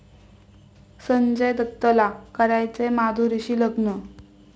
संजय दत्तला करायचंय माधुरीशी लग्न!